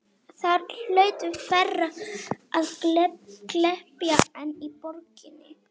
Þar hlaut færra að glepja en í borginni.